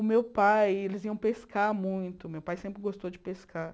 O meu pai, eles iam pescar muito, meu pai sempre gostou de pescar.